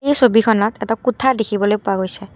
এই ছবিখনত এটা কোঠা দেখিবলৈ পোৱা গৈছে।